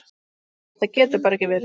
Þetta getur bara ekki verið.